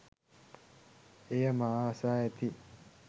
එය මා අසා ඇති